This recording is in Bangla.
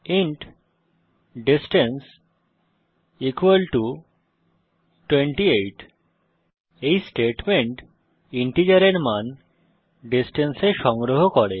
ইন্ট ডিসট্যান্স ইকুয়াল টু 28 এই স্টেটমেন্ট ইন্টিজারের মান ডিসট্যান্স এ সংগ্রহ করে